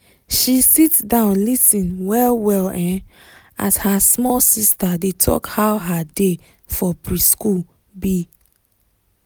she sit down lis ten well well um as her small sister dey talk how her day for preschool be.